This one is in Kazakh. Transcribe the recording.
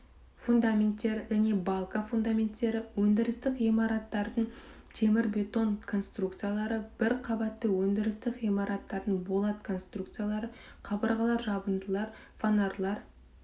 фундаменттер және балка фундаменттері өндірістік ғимараттардың темірбетон конструкциялары бір қабатты өндірістік ғимараттардың болат конструкциялары қабырғалар жабындылар фонарьлар